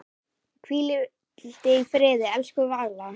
Hvíldu í friði, elsku Valla.